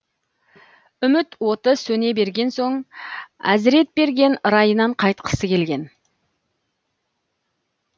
үміт оты сөне берген соң әзіретберген райынан қайтқысы келген